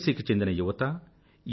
C కి చెందిన యువత ఎన్